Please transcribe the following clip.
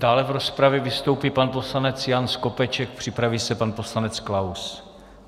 Dále v rozpravě vystoupí pan poslanec Jan Skopeček, připraví se pan poslanec Klaus.